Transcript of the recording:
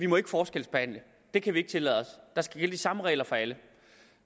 må forskelsbehandle det kan vi ikke tillade os der skal gælde de samme regler for alle